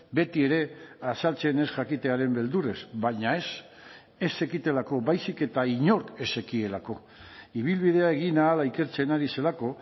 beti ere azaltzen ez jakitearen beldurrez baina ez ez zekitelako baizik eta inork ez zekielako ibilbidea egin ahala ikertzen ari zelako